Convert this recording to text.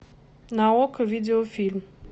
на окко видеофильм